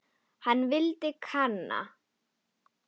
Hann vildi kanna.